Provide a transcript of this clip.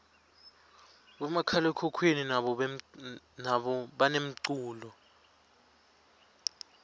bomakhalekhukhwini nabo banemculo